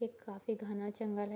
एक काफी घना जंगल है।